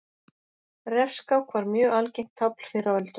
Refskák var mjög algengt tafl fyrr á öldum.